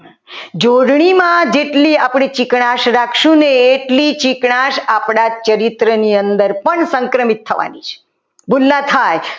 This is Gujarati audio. જોડણીમાં જેટલી આપણે ચીકણા જ રાખશું ને એટલી ચીકણાશ આપણા ચરિત્ર ની અંદર સંક્રમિત થવાની છે